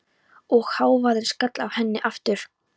Og hávaðinn skall á henni aftur.